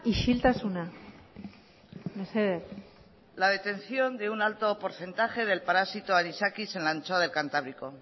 isiltasuna mesedez la detección de un alto porcentaje del parásito anisakis en la anchoa del cantábrico